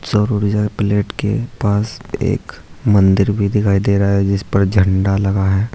सौर ऊर्जा प्लेट के पास एक मंदिर भी दिखाई दे रहा है जिसपर झंडा लगा है।